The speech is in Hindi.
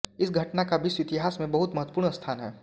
इस घटना का विश्व इतिहास में बहुत महत्वपूर्ण स्थान है